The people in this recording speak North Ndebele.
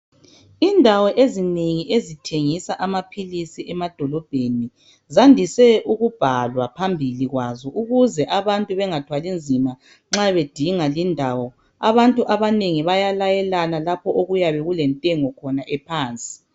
Indawo ezinengi ezithengisa amaphilisi emadolobheni zandiswe ukubhalwa phambili kwazo ukuze abantu bengathwali nzima nxa bedinga lindawo. Abantu abanengi bayalayelana lapho okuyabe kulentengo khona ephansi.